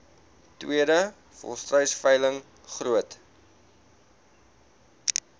tweede volstruisveiling groot